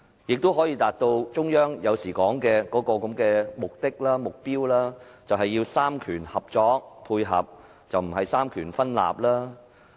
也許他更能達到中央經常提到的目標，便是三權合作、三權配合，而非三權分立。